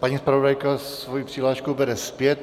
Paní zpravodajka svoji přihlášku bere zpět.